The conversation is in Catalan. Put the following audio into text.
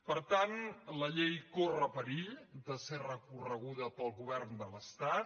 per tant la llei corre perill de ser recorreguda pel govern de l’estat